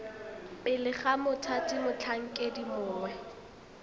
pele ga mothati motlhankedi mongwe